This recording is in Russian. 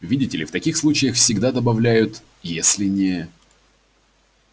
видите ли в таких случаях всегда добавляют если не